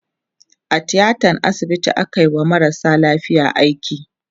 a tiatan asibiti akayi wa marasa lafiya aiki